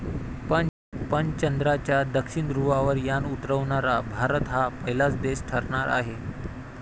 पण चंद्राच्या दक्षिण ध्रुवावर यान उतरवणारा भारत हा पहिलाच देश ठरणार आहे.